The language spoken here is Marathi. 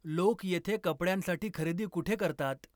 लोक येथे कपड्यांसाठी खरेदी कुठे करतात